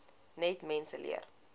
net mense leer